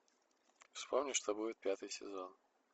вспомни что будет пятый сезон